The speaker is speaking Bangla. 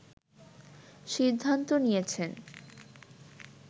সিদ্ধান্ত নিয়েছেন